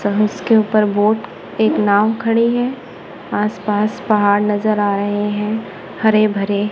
जहां उसके ऊपर बोट एक नांव खड़ी हैं आस पास पहाड़ नज़र आ रहें हैं हरे भरे--